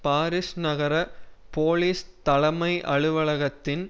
Paris நகர police தலமை அலுவலகத்தின்